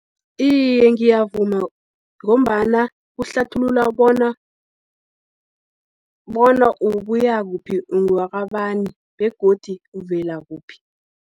Iye, ngiyavuma, ngombana kuhlathulula bona ukuya kuphi, ungwakabani, begodi uvela kuphi.